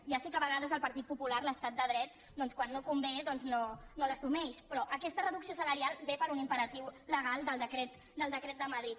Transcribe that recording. ja sé que a vegades el partit popular l’estat de dret doncs quan no convé no l’assumeix però aquesta reducció salarial ve per un imperatiu legal del decret de madrid